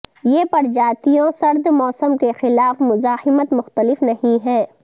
یہ پرجاتیوں سرد موسم کے خلاف مزاحمت مختلف نہیں ہے